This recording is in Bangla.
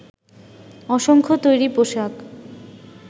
অসংখ্য তৈরি পোশাক